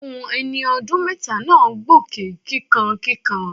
Ohun ẹni ọdún mẹ́ta náà gbóké kíkankíkan.